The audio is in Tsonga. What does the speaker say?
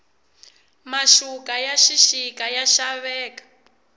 maxuka ya xixika ya xaveka